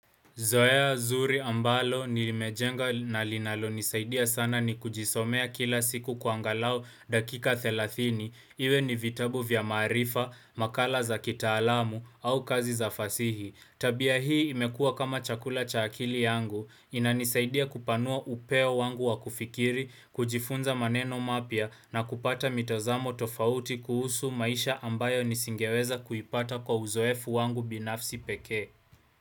Zoea, zuri ambalo, nilimejenga na linalo nisaidia sana ni kujisomea kila siku kwa angalau dakika thelathini, iwe ni vitabu vya maarifa, makala za kitaalamu au kazi za fasihi. Tabia hii imekua kama chakula cha akili yangu, inanisaidia kupanua upeo wangu wa kufikiri, kujifunza maneno mapya na kupata mitazamo tofauti kuhusu maisha ambayo nisingeweza kuipata kwa uzoefu wangu binafsi pekee.